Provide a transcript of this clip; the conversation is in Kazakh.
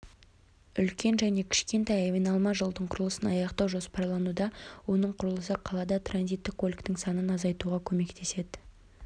үлкен және кішкентай айналма жолдың құрылысын аяқтау жоспарлануда оның құрылысы қалада транзитті көліктің санын азайтуға көмектеседі